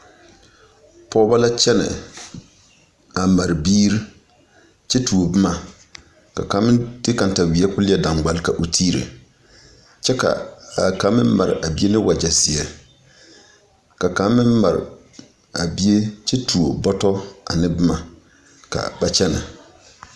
Pɔgbɔ la kyɛnɛ a mare biiri kyɛ tuo boma ka kaŋ meŋ de kataweɛ koo leɛ daŋgbal ka o tiire kyɛ ka a kaŋ meŋ mare a bie ne wagyɛ zeɛ ka kaŋ meŋ mare a bie kyɛ tuo bɔtɔ ane boma ka ba kyɛnɛ.